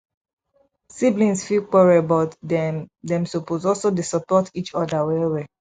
siblings fit quarrel but dem dem suppose also dey support each other well well